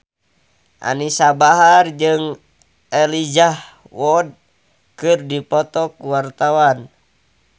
Anisa Bahar jeung Elijah Wood keur dipoto ku wartawan